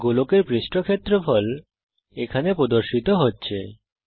গোলকের পৃষ্ঠ ক্ষেত্রফল এখানে প্রদর্শিত হচ্ছে